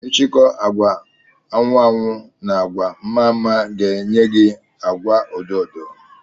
ichikọ agwa anwu anwụ na agwa mme mme ga enye gi agwa odo odo